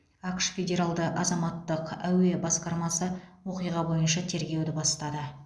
ақш федералды азаматтық әуе басқармасы оқиға бойынша тергеуді бастады